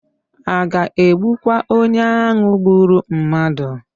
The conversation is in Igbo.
A ga-egbukwa onye ahụ gburu mmadụ?